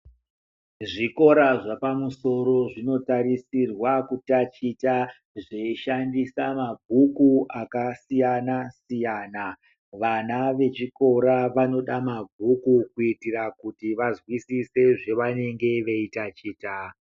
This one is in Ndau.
Zvora zvapamusoro zvinotarisirwa kutachita zveishandisa mabhuku akasiyana-siyana. Vana vechikora vanoda mabhuku kuitira kuti vazwisise zvavanenge veitachita.